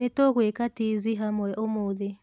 Nĩtũgwĩka tizi hamwe ũmũthĩ